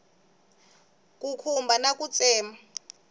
ku khumba na ku tsema